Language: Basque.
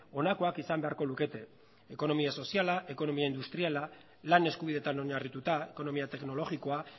honakoak izan beharko lukete ekonomia soziala ekonomia industriala lan eskubideetan oinarrituta ekonomia teknologikoa